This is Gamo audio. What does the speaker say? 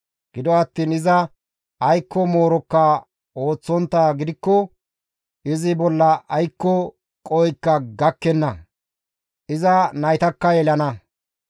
Gido attiin iza aykko moorokka ooththonttaa gidikko izi bolla aykko qohoykka gakkenna; iza naytakka yelana.